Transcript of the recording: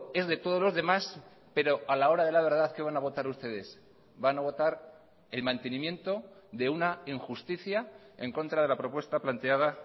es de todos los demás pero a la hora de la verdad qué van a votar ustedes van a votar el mantenimiento de una injusticia en contra de la propuesta planteada